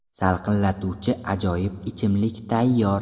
Salqinlatuvchi ajoyib ichimlik tayyor!